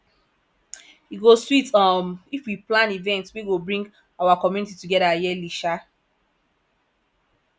e go sweet um if we plan events wey go bring our community together yearly um